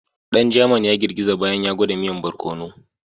Dan German ya girgiza bayan ya gwada miyan bararkono.